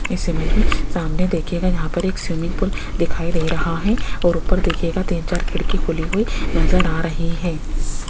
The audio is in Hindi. इस इमेज मे सामने देखियेगा यहां पर एक स्विमिंग पूल दिखाई दे रहा है और ऊपर देखिएगा तीन चार खिड़की खुली हुई नजर आ रही है।